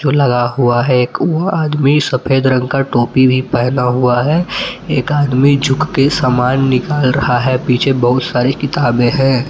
लगा हुआ है एक वो आदमी सफेद रंग का टोपी भी पहना हुआ है एक आदमी झुक के सामान निकाल रहा है पीछे बहुत सारी किताबें हैं।